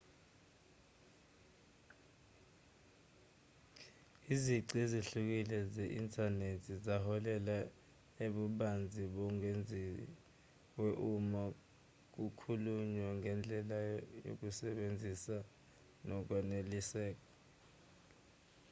izici ezihlukile ze-inthanethi zaholela ebubanzini obengeziwe uma kukhulunywa ngendlela yokusebenzisa nokwaneliseka